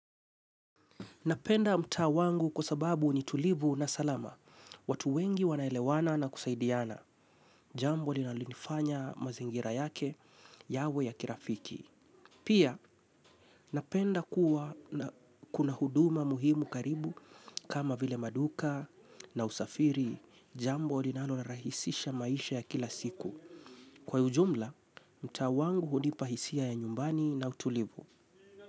Napenda mtaa wangu kwa sababu ni tulivu na salama, watu wengi wanaelewana na kusaidiana, jambo linaloifanya mazingira yake, yawe ya kirafiki. Pia napenda kuna huduma muhimu karibu kama vile maduka na usafiri, jambo linalo rahisisha maisha ya kila siku. Kwa ujumla, mtaa wangu hunipa hisia ya nyumbani na utulivu.